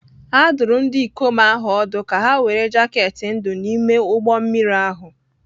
A dụrụ ndị ikom ahụ ọdụ ka ha were jaket ndụ n'ime ụgbọ mmiri ahụ